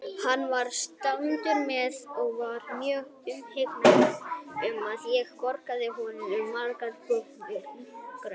Hann var strangur maður og var mjög umhugað um að ég borðaði bragðvonda grauta.